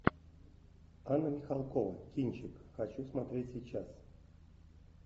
анна михалкова кинчик хочу смотреть сейчас